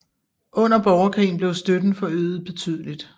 Under borgerkrigen blev støtten forøget betydeligt